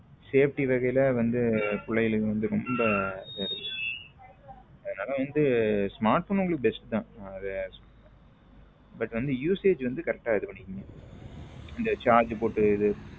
Safety வகையில் வந்து பிள்ளைகள் வந்து ரொம்ப அதனால வந்த smartphone உங்களுக்கு best தான் but வந்து usage வந்து correct ஆ இது பண்ணிக்கோங்க இந்த charger போட்டு இது.